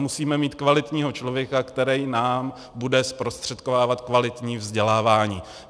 Musíme mít kvalitního člověka, který nám bude zprostředkovávat kvalitní vzdělávání.